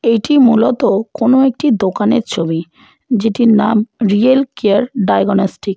এটি মূলত কোন একটি দোকানের ছবি যেটির নাম রিয়েল কেয়ার ডায়াগনস্টিক ।